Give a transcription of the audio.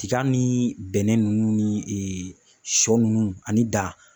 Tiga ni bɛnɛ nunnu ni sɔ nunnu ani da